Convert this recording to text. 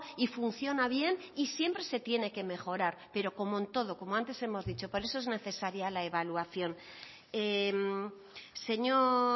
y funciona bien y siempre se tiene que mejorar pero como en todo como antes hemos dicho por eso es necesaria la evaluación señor